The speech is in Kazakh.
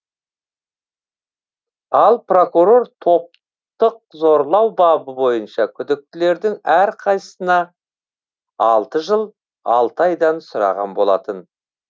ал прокурор топтық зорлау бабы бойынша күдіктілердің әрқайсысына алты жыл алты айдан сұраған болатын